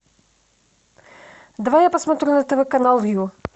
давай я посмотрю на тв канал ю